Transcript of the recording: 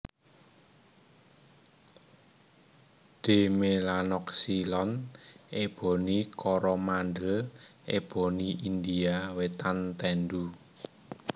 D melanoxylon Eboni Koromandel eboni India wétan tendu